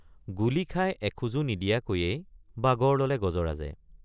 গুলী খাই এখোজো নিদিয়াকৈয়েই বাগৰ ললে গজৰাজে।